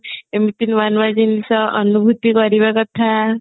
ଏମତି ନୂଆ ନୂଆ ଜିନିଷ ଅନୁଭୂତି କରିବା କଥା